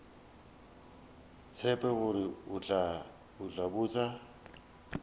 tsebe gore o tla botša